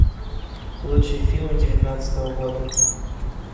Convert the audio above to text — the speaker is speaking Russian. лучшие фильмы девятнадцатого года